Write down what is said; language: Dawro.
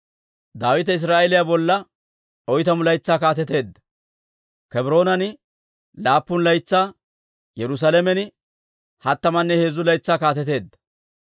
Daawite Israa'eeliyaa bolla oytamu laytsaa kaateteedda; Kebroonan laappun laytsaa, Yerusaalamen hattamanne heezzu laytsaa kaateteedda.